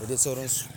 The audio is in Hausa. da dai sauransu.